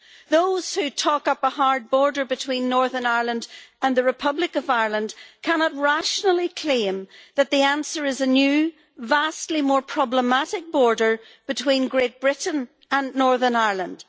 Those who talk up a hard border between Northern Ireland and the Republic of Ireland cannot rationally claim that the answer is a new vastly more problematic border between Great Britain and Northern Ireland.